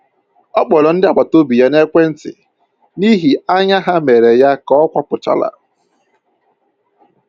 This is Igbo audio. Ọ kpọrọ ndị agbataobi ya n'ekwentị n'ihi anya ha mere ya ka ọ kwapụchara